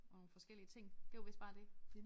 Og nogle forskellige ting det var vist bare det